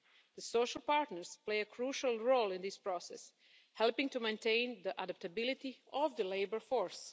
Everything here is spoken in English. The social partners play a crucial role in this process, helping to maintain the adaptability of the labour force.